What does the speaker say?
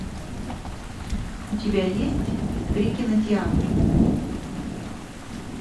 у тебя есть три кинотеатра